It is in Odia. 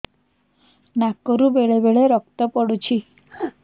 ନାକରୁ ବେଳେ ବେଳେ ରକ୍ତ ପଡୁଛି